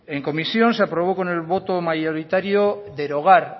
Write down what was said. en comisión se aprobó con el voto mayoritario derogar